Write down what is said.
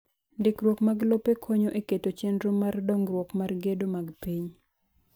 Ndikruok mar lope konyo e keto chenro mar dongruok mar gedo mag piny.